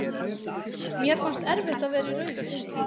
Mér fannst erfitt að vera í rauðum búning.